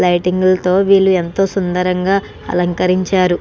Lighting లతో వీళ్ళు ఎంతో సుందరంగ అలకరించారు.